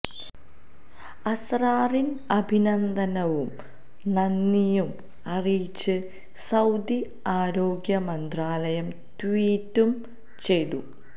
അസ്റാറിന് അഭിനന്ദനവും നനന്ദിയും അറിയിച്ച് സൌദി ആരോഗ്യ മന്ത്രാലയം ട്വീറ്റും ചെയ്തു